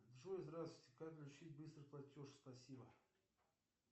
джой здравствуйте как включить быстрый платеж спасибо